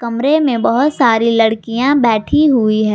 कमरे में बहोत सारी लड़कियां बैठी हुई है।